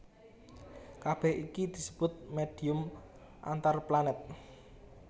Kabèh iki disebut médhium antarplanèt